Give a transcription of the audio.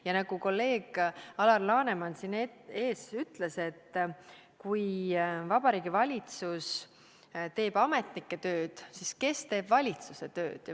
Ja nagu kolleeg Alar Laneman siin ees ütles: "Kui Vabariigi Valitsus teeb ametnike tööd, siis kes teeb Vabariigi Valitsuse tööd?